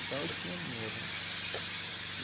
Então, eu tinha dinheiro, né?